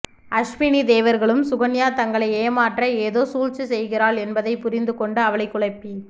அஸ்வினி தேவர்களும் சுகன்யா தங்களை ஏமாற்ற ஏதோ சூழ்ச்சி செய்கிறாள் என்பதைப் புரிந்து கொண்டு அவளைக் குழப்பி